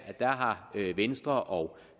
har venstre og